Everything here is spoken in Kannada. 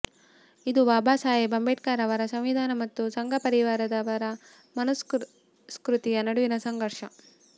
ಇದು ಬಾಬಾ ಸಾಹೇಬ್ ಅಂಬೇಡ್ಕರ್ ಅವರ ಸಂವಿಧಾನ ಮತ್ತು ಸಂಘ ಪರಿವಾರದವರ ಮನುಸ್ಮೃತಿಯ ನಡುವಿನ ಸಂಘರ್ಷ